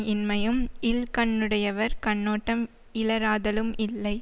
இன்மையும் இல் கண்ணுடையவர் கண்ணோட்டம் இலராதலும் இல்லை